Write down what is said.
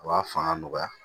A b'a fanga nɔgɔya